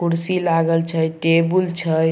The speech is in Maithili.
कुर्सी लागल छै टेबुल छै ।